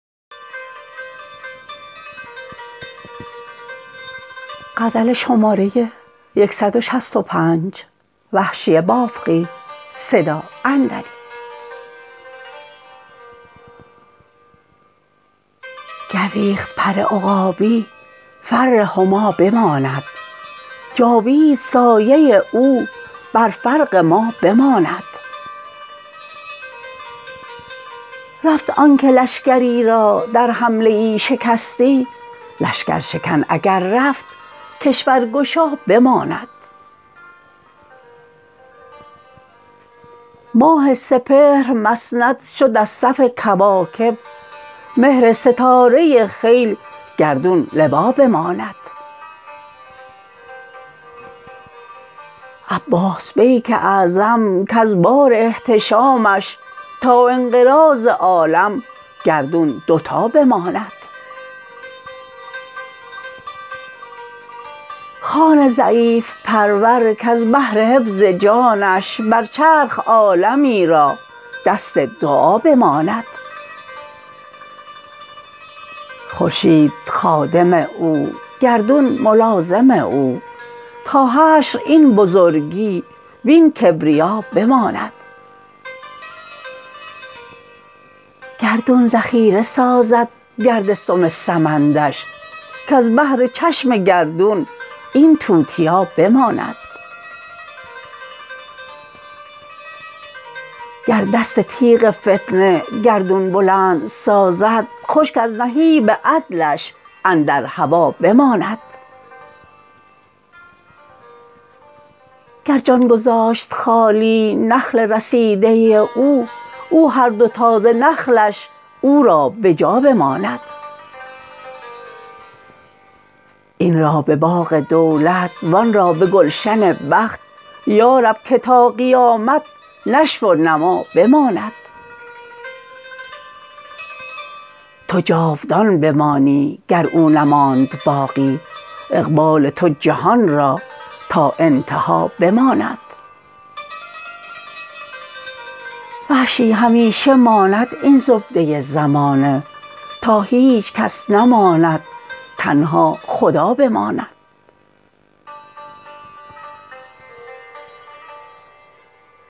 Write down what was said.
گر ریخت پر عقابی فر هما بماند جاوید سایه او بر فرق ما بماند رفت آنکه لشکری را در حمله ای شکستی لشکر شکن اگر رفت کشور گشا بماند ماه سپهر مسند شد از صف کواکب مهر ستاره خیل گردون لوا بماند عباس بیک اعظم کز بار احتشامش تا انقراض عالم گردون دو تا بماند خان ضعیف پرور کز بهر حفظ جانش بر چرخ عالمی را دست دعا بماند خورشید خادم او گردون ملازم او تا حشر این بزرگی وین کبریا بماند گردون ذخیره سازد گرد سم سمندش کز بهر چشم گردون این توتیا بماند گر دست تیغ فتنه گردون بلند سازد خشک از نهیب عدلش اندر هوا بماند گر جان گذاشت خالی نخل رسیده او او هر دو تازه نخلش او را بجا بماند این را به باغ دولت و آنرا به گلشن بخت یارب که تا قیامت نشو و نما بماند تو جاودان بمانی گر او نماند باقی اقبال تو جهان را تا انتها بماند وحشی همیشه ماند این زبده زمانه تا هیچکس نماند تنها خدا بماند